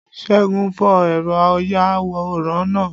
según fó eró ayawóran náá